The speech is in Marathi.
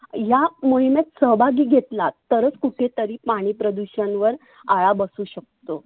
ह्या मोहिमेत सहभागी घेतलात तरच कुठे तरी पाणि प्रदुषन वर आळा बसु शकतो.